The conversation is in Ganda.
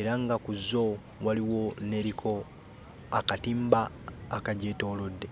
era nga ku zo waliwo n'eriko akatimba akagyetoolodde.